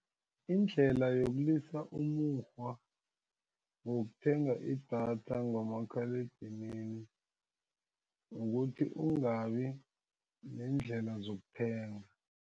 Indlela yokulisa umukghwa wokuthenga idatha ngomakhaledinini ukuthi ungabi neendlela zokuthenga.